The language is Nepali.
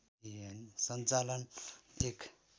सञ्चालन एक